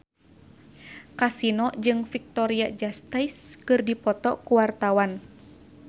Kasino jeung Victoria Justice keur dipoto ku wartawan